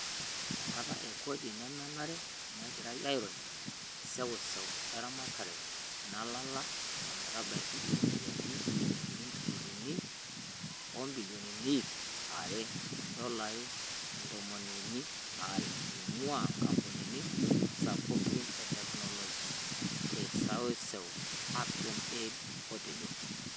Enkata e kodi nemenare negira airony seuseu eramatare nalala o metabaiki iropiyiani njilingini intirilioni o bilioni iip are (indolai ntomon uni are) eingua nkampunini sapukini e teknoloji te seuseu, Action Aid otejo.